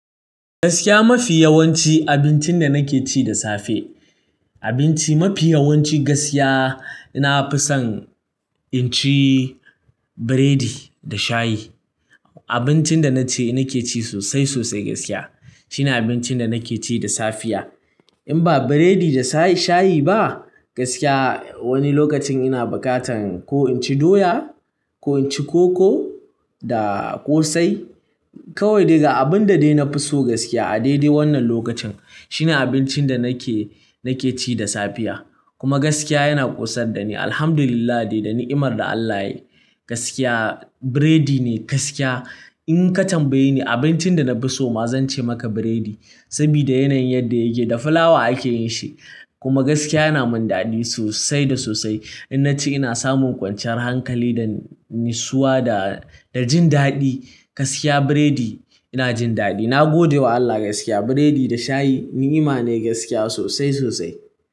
Gaskiya mafi yawanci abincin da nake ci da safe, abinci mafi yawanci gaskiya, na fi son in ci burodi da shayi. Abincin da na ce, nake ci sosai sosai gaskiya. Shine abincin da nake ci da safiya. In ba biredi da shayi ba gaskiya wani lokacin ina bukatan ko in ci doya ko in ci koko da ƙosai. Kawai dai ga abun da dai na fi so gaskiya a daidai wannan lokacin shine abincin da nake, nake ci da safiya. Kuma gaskiya yana ƙosar da ni. Alhamdulillah dai da ni'imar da Allah yayi gaskiya, biredi ne gaskiya. In ka tambaye ni abincin da na fi so ma zan ce maka biredi. Saboda yanayin yadda yake, da fulawa ake yin shi kuma gaskiya yana min daɗi sosai da sosai. In na ci ina samun kwanciyar hankali da nisua da, da jin daɗi. Gaskiya biredi ina jin daɗi. Na gode wa Allah gaskiya. Biredi da shayi ni'ima ne gaskiya sosai sosai.